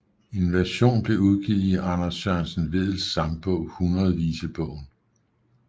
En version blev udgivet i Anders Sørensen Vedels sangbog Hundredvisebogen